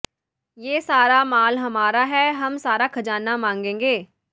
ਯੇ ਸਾਰਾ ਮਾਲ ਹਮਾਰਾ ਹੈ ਹਮ ਸਾਰਾ ਖ਼ਜਾਨਾ ਮਾਂਗੇਂਗੇ